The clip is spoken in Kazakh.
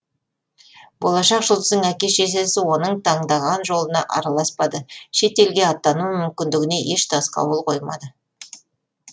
болашақ жұлдыздың әке шешесі оның таңдаған жолына араласпады шет елге аттану мүмкіндігіне еш тосқауыл қоймады